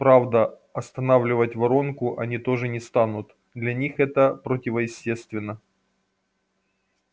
правда останавливать воронку они тоже не станут для них это противоестественно